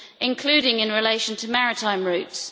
including in relation to maritime routes.